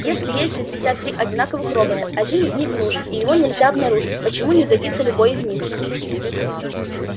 если есть шестьдесят три одинаковых робота один из них нужен и его нельзя обнаружить почему не годится любой из них